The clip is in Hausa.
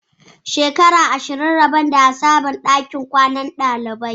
Shekara ashirin kenan rabon da a sabunta ɗakunan kwanan ɗaliban